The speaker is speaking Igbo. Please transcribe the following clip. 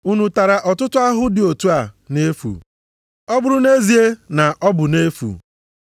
Unu tara ọtụtụ ahụhụ dị otu a nʼefu, ọ bụrụ nʼezie na ọ bụ nʼefu?